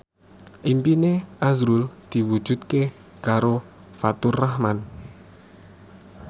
impine azrul diwujudke karo Faturrahman